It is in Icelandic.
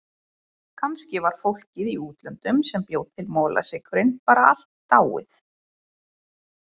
Kannski var fólkið í útlöndunum sem bjó til molasykurinn bara allt dáið.